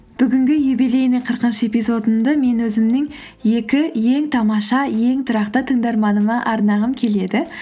бүгінгі юбилейный қырқыншы эпизодымды мен өзімнің екі ең тамаша ең тұрақты тыңдарманыма арнағым келеді